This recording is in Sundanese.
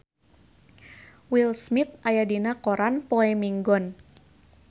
Will Smith aya dina koran poe Minggon